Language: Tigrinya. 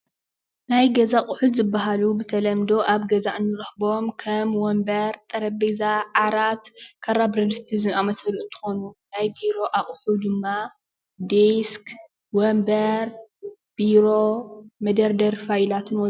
ናይ ገዛ ኣቑሑ ዝበሃሉ ብተለምዶ ኣብ ገዛ እንረኽቦም ከም ወንበር፣ ጠረጴዛ፣ ዓራት፣ ካራ፣ ብረድስቲ ዝኣምሰሉ እንትኾኑ ናይ ቢሮ ኣቑሑ ድማ ዴስክ፣ ወንበር፣ ቢሮ፣ መደርደሪ ፋይላትን ወዘተ።